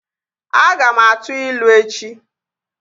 Aga m a tuu ilu echi